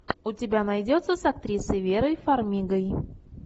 у тебя найдется с актрисой верой фармигой